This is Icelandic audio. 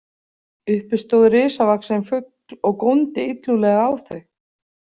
Uppi stóð risavaxinn fugl og góndi illúðlega á þau.